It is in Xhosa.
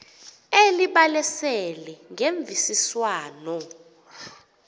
elibalasele ngemvisiswano r